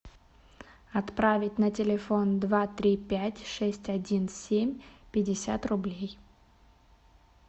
отправить на телефон два три пять шесть один семь пятьдесят рублей